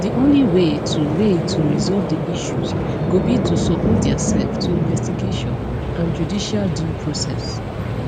di only way to way to resolve di issues go be to submit diasef to investigation and judicial due process